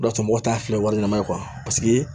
O de y'a to mɔgɔw t'a fɛ wa ɲɛnama ye